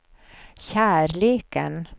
kärleken